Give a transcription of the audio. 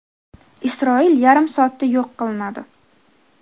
Isroil yarim soatda yo‘q qilinadi .